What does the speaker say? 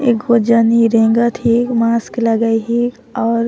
एगो जनी रेंगत है मास्क लगये है और--